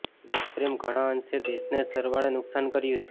દેશપ્રેમે ઘણાં અંશે દેશને જ સરવાળે નુકસાન કર્યું છે